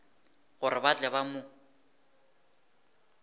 gore ba tle ba mo